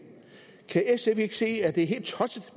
kan sf ikke se at det er helt tosset